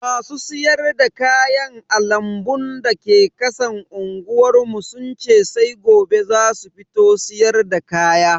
Masu siyar da kayan a lambun da ke kasan unguwar mu sun ce sai gobe zasu fito siyarda kaya.